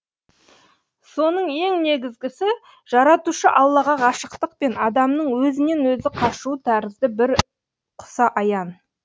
соның ең негізгісі жаратушы аллаға ғашықтық пен адамның өзінен өзі қашуы тәрізді бір құса аян